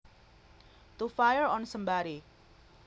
To fire on somebody